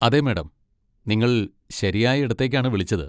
അതെ, മാഡം! നിങ്ങൾ ശരിയായ ഇടത്തേക്കാണ് വിളിച്ചത്.